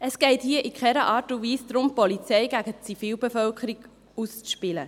Es geht hier in keiner Art und Weise darum, die Polizei gegen die Zivilbevölkerung auszuspielen.